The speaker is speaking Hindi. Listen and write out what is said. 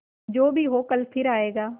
जो भी हो कल फिर आएगा